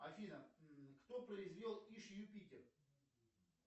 афина кто произвел иж юпитер